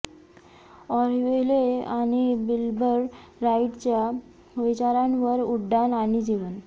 Orville आणि Wilbur राइटच्या विचारांवर उड्डाण आणि जीवन